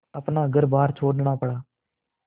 अपना घरबार छोड़ना पड़ा